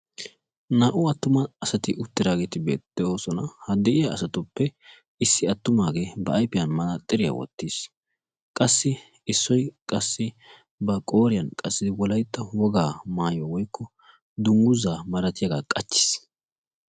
naa''u attuma asati uttidaageti de'oosona. ha de'iyaa asatuppe issi attumaagee ba ayfiyan manaxxiriya wottiis. issoy qassi ba qooriyan wolyatta wogaa maayuwaa woykko dungguzaq malatiyaaga qachchiis.